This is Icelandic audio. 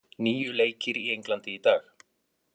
Níu leikir í Englandi í dag